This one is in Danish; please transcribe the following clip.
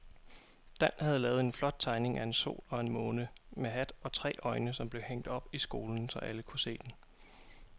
Dan havde lavet en flot tegning af en sol og en måne med hat og tre øjne, som blev hængt op i skolen, så alle kunne se den.